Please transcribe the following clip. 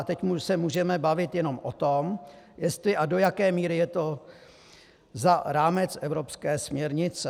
A teď se můžeme bavit jenom o tom, jestli a do jaké míry je to za rámec evropské směrnice.